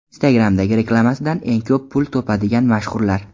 Instagram’dagi reklamasidan eng ko‘p pul topadigan mashhurlar .